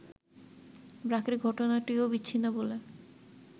ব্র্যাকের ঘটনাটিও বিচ্ছিন্ন বলে